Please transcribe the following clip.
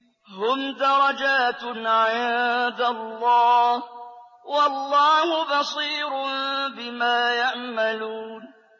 هُمْ دَرَجَاتٌ عِندَ اللَّهِ ۗ وَاللَّهُ بَصِيرٌ بِمَا يَعْمَلُونَ